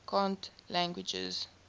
cant languages